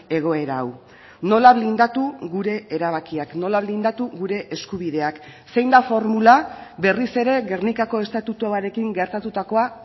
egoera hau nola blindatu gure erabakiak nola blindatu gure eskubideak zein da formula berriz ere gernikako estatutuarekin gertatutakoa